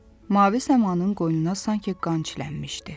Mavi səmanın qoynuna sanki qan çilənmişdi.